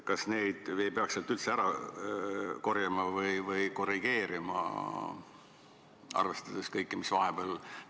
Kas neid arve ei peaks sealt üldse ära korjama või kuidagi korrigeerima, arvestades kõike seda, mis vahepeal on toimunud?